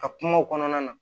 A kumaw kɔnɔna na